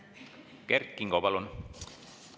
Kert Kingo, palun!